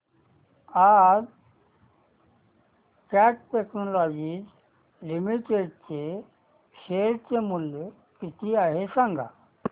आज cat technologies limited चे share चे मूल्य किती आहे सांगा